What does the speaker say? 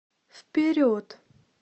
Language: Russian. вперед